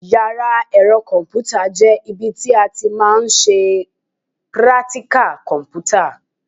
Yàrá ẹ̀rọ kọ̀m̀pútà jẹ́ ibi tí a ti máa ń ṣe prátíkà kọ̀m̀pútà.